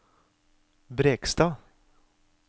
Brekstad